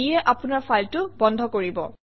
ইয়ে আপোনৰ ফাইলটো বন্ধ কৰিব